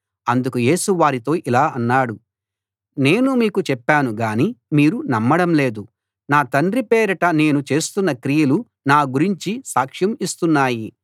అందుకు యేసు వారితో ఇలా అన్నాడు నేను మీకు చెప్పాను గాని మీరు నమ్మడం లేదు నా తండ్రి పేరిట నేను చేస్తున్న క్రియలు నా గురించి సాక్ష్యం ఇస్తున్నాయి